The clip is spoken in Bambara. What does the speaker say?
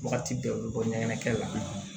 Wagati bɛɛ u bɛ bɔ ɲɛgɛn la